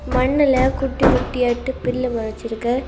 மண்ணுல குட்டி குட்டியாட்டு புல்லு மொழச்சிருக்கு.